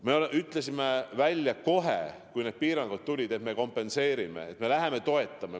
Me ütlesime välja kohe, kui need piirangud tulid, et me kompenseerime, me toetame.